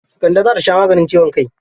Kande za ta sha maganin ciwon kai.